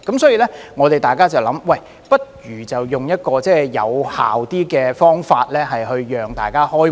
所以，大家便會想，不如採用一種更有效的方法讓大家開會。